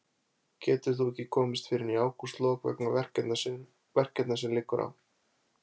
Getur þó ekki komist fyrr en í ágústlok vegna verkefna sem á liggur.